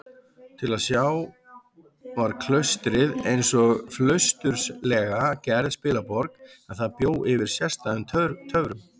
Til að sjá var klaustrið einsog flausturslega gerð spilaborg, en það bjó yfir sérstæðum töfrum.